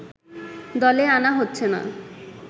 দলে আনা হচ্ছে না